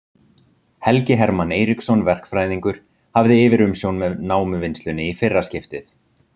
Helgi Hermann Eiríksson verkfræðingur hafði yfirumsjón með námuvinnslunni í fyrra skiptið.